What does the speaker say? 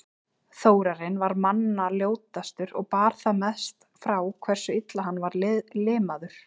Þórarinn var manna ljótastur og bar það mest frá hversu illa hann var limaður.